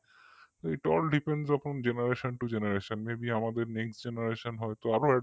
italldependsupongenerationtogenerationmaybe আমাদের next generation হয়তো আরো advance কিছু তখন আরো